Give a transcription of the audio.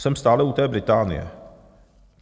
Jsem stále u té Británie.